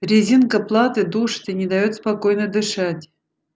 резинка платы душит и не даёт спокойно дышать